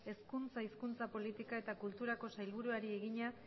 hezkuntza hizkuntza politika eta kulturako sailburuari egina